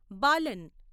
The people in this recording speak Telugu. బాలన్